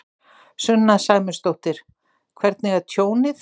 Sunna Sæmundsdóttir: Hvernig er tjónið?